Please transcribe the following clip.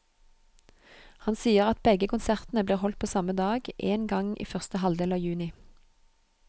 Han sier at begge konsertene blir holdt på samme dag, en gang i første halvdel av juni.